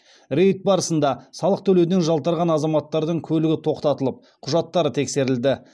рейд барысында салық төлеуден жалтарған азаматтардың көлігі тоқтатылып құжаттары тексерілді